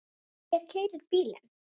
Hver keyrir bílinn?